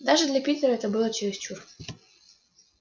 даже для питера это было чересчур